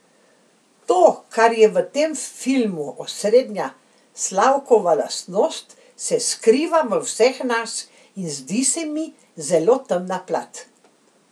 To, kar je v tem filmu osrednja Slavkova lastnost, se skriva v vseh nas, in zdi se mi zelo temna plat.